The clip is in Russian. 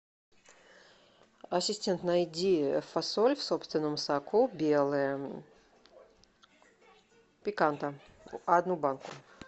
ассистент найди фасоль в собственном соку белая пиканта одну банку